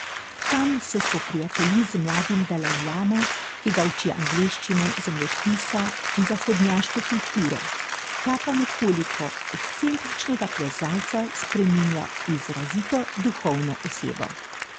Tam se spoprijatelji z mladim dalajlamo, ki ga uči angleščine, zemljepisa in zahodnjaške kulture, ta pa nekoliko ekscentričnega plezalca spreminja v izrazito duhovno osebo.